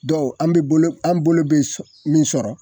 Dɔw an be bolo an' bolo be sɔ min sɔrɔ